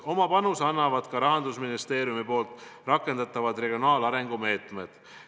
Oma panuse annavad ka Rahandusministeeriumi rakendatavad regionaalarengu meetmed.